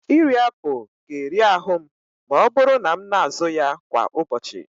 Iri apụl ga-eri ahụ m ma ọ bụrụ na m na-azụ ya kwa ụbọchị.